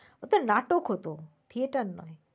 ওটা নাটক হত theater নয়।